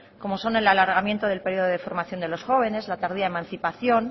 como son el alargamiento del periodo de formación de los jóvenes la tardía emancipación